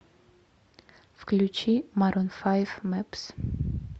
включи марун файв мэпс